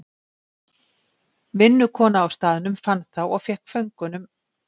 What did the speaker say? Vinnukona á staðnum fann þá og fékk föngunum.